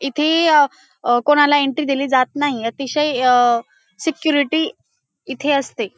इथे अ कोणाला एन्ट्री दिली जात नाही. अतिशय अ सिक्युरिटी इथे असते.